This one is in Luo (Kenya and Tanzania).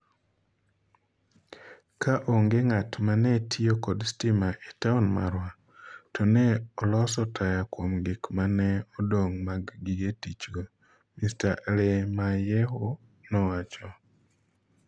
Ka onge ng’at ma ne tiyo kod stima e taon marwa, to ne oloso taya kuom gik ma ne odong’ mag gige tichgo,” Mr. Alemayehu nowacho.